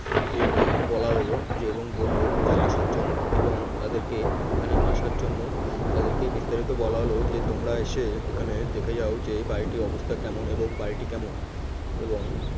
এতে বলা হলো যে এবং বলল যে আসার জন্য এবং তাদেরকে এখানে আসার জন্য তাদেরকে বিস্তারিত বলা হল যে তোমরা এসে এখানে দেখে যাও যে এই বাড়িটির অবস্থা কেমন এবং বাড়িটি কেমন এবং